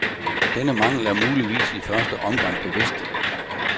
Denne mangel er muligvis i første omgang bevidst.